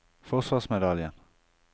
forsvarsmedaljen